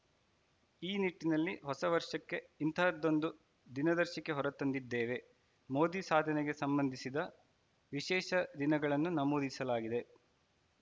ಈ ನಿಟ್ಟಿನಲ್ಲಿ ಹೊಸ ವರ್ಷಕ್ಕೆ ಇಂತಹದ್ದೊಂದು ದಿನದರ್ಶಿಕೆ ಹೊರ ತಂದಿದ್ದೇವೆ ಮೋದಿ ಸಾಧನೆಗೆ ಸಂಬಂಧಿಸಿದ ವಿಶೇಷ ದಿನಗಳನ್ನು ನಮೂದಿಸಲಾಗಿದೆ